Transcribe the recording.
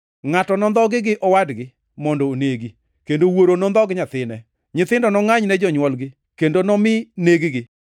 “Ngʼato nondhogi gi owadgi mondo onegi, kendo wuoro nondhog nyathine. Nyithindo nongʼany ne jonywolgi kendo nomi neg-gi.